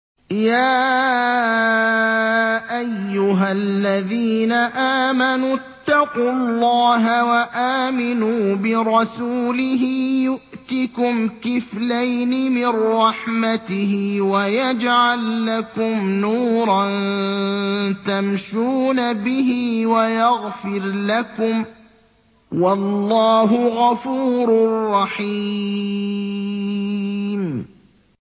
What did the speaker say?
يَا أَيُّهَا الَّذِينَ آمَنُوا اتَّقُوا اللَّهَ وَآمِنُوا بِرَسُولِهِ يُؤْتِكُمْ كِفْلَيْنِ مِن رَّحْمَتِهِ وَيَجْعَل لَّكُمْ نُورًا تَمْشُونَ بِهِ وَيَغْفِرْ لَكُمْ ۚ وَاللَّهُ غَفُورٌ رَّحِيمٌ